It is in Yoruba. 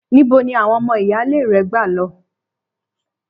Níbo ni àwon o̩mo̩ ìyáálé re̩ gbà lo̩?